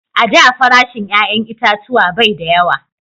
A da farashin 'ya'yan itatuwa bai da yawa